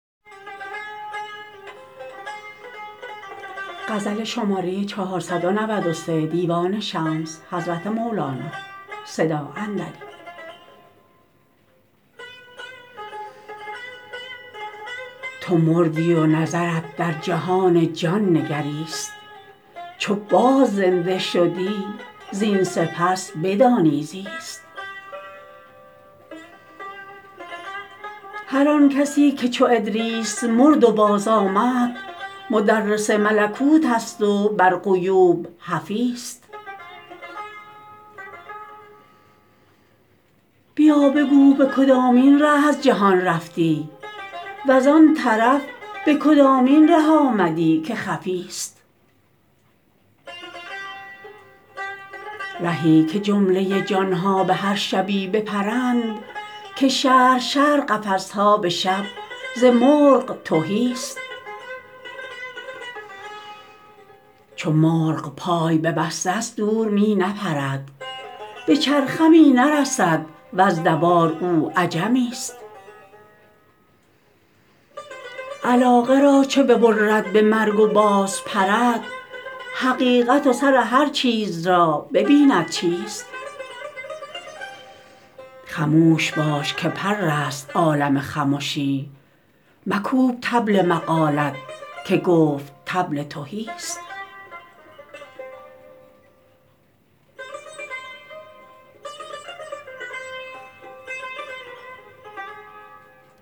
تو مردی و نظرت در جهان جان نگریست چو باز زنده شدی زین سپس بدانی زیست هر آن کسی که چو ادریس مرد و بازآمد مدرس ملکوتست و بر غیوب حفیست بیا بگو به کدامین ره از جهان رفتی و زان طرف به کدامین ره آمدی که خفیست رهی که جمله جان ها به هر شبی بپرند که شهر شهر قفس ها به شب ز مرغ تهیست چو مرغ پای ببسته ست دور می نپرد به چرخ می نرسد وز دوار او عجمیست علاقه را چو ببرد به مرگ و بازپرد حقیقت و سر هر چیز را ببیند چیست خموش باش که پرست عالم خمشی مکوب طبل مقالت که گفت طبل تهیست